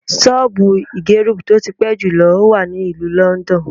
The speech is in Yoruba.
Ṣọ́ọ̀bù ìgẹrub tí ó ti pẹ́ jùlọ wà ní ìlú Lọ́ńdọ́ọ̀nù.